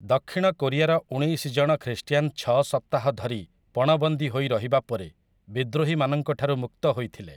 ଦକ୍ଷିଣ କୋରିଆର ଉଣେଇଶି ଜଣ ଖ୍ରୀଷ୍ଟିଆନ ଛଅ ସପ୍ତାହ ଧରି ପଣବନ୍ଦୀ ହୋଇ ରହିବା ପରେ ବିଦ୍ରୋହୀମାନଙ୍କଠାରୁ ମୁକ୍ତ ହୋଇଥିଲେ ।